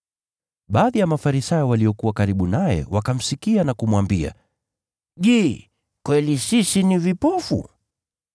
Baadhi ya Mafarisayo waliokuwa karibu naye wakamsikia na kumwambia, “Je, kweli sisi ni vipofu?”